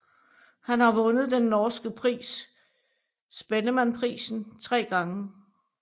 Han har vundet den norske pris Spellemannprisen tre gange